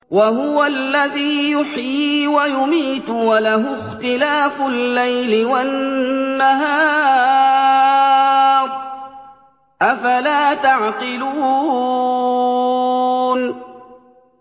وَهُوَ الَّذِي يُحْيِي وَيُمِيتُ وَلَهُ اخْتِلَافُ اللَّيْلِ وَالنَّهَارِ ۚ أَفَلَا تَعْقِلُونَ